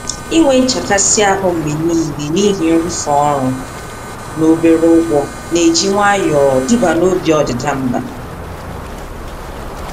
Inwe nchekasị-ahụ mgbe nile n'ihi nrụ̀fe ọrụ n'obere ụgwọ, n'eji nwayọọ duba na obi ọdịda mbà.